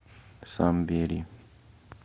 самбери